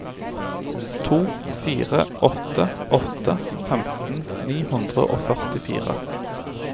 to fire åtte åtte femten ni hundre og førtifire